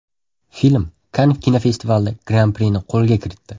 Film Kann kinofestivalida Gran-prini qo‘lga kiritdi.